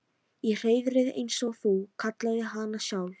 Í hreiðrið eins og þú kallaðir hana sjálf.